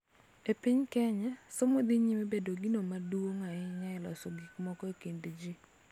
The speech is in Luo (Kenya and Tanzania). E piny Kenya, somo dhi nyime bedo gino maduong� ahinya e loso gik moko e kind ji,